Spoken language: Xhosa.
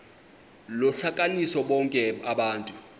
lohlukanise bonke abantu